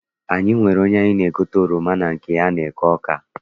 Anyị nwere onye anyị na-egote oroma na nke ya n'eke Awka.